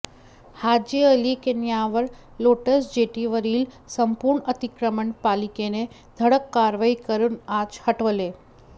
हाजी अली किनाऱ्यावर लोटस जेटीवरील संपूर्ण अतिक्रमण पालिकेने धडक कारवाई करून आज हटवले